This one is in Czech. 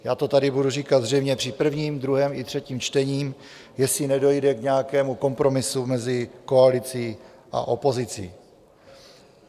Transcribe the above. Já to tady budu říkat zřejmě při prvním, druhém i třetím čtení, jestli nedojde k nějakému kompromisu mezi koalicí a opozicí.